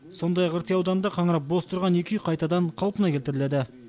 сондай ақ рти ауданында қаңырап бос тұрған екі үй қайтадан қалпына келтіріледі